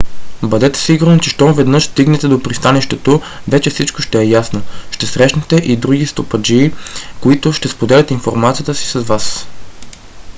бъдете сигурни че щом веднъж стигнете до пристанището вече всичко ще е ясно. ще срещнете и други стопаджии които ще споделят информацията си с вас